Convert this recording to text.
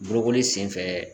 Bolokoli senfɛ